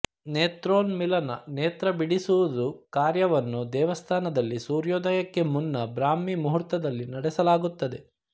ನೇತ್ರೋನ್ಮಿಲನ ನೇತ್ರ ಬಿಡಿಸುವುದು ಕಾರ್ಯವನ್ನು ದೇವಸ್ಥಾನದಲ್ಲಿ ಸೂರ್ಯೋದಯಕ್ಕೆ ಮುನ್ನ ಬ್ರಾಹ್ಮೀ ಮುಹೂರ್ತದಲ್ಲಿ ನಡೆಸಲಾಗುತ್ತದೆ